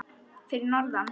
Fyrir norðan?